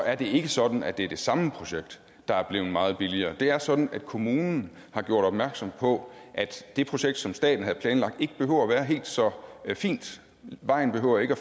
er det ikke sådan at det er det samme projekt der er blevet meget billigere det er sådan at kommunen har gjort opmærksom på at det projekt som staten havde planlagt ikke behøver at være helt så fint vejen behøver ikke at